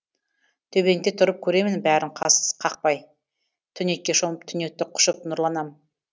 төбеңде тұрып көремін бәрін қас қақпай түнекке шомып түнекті құшып нұрланам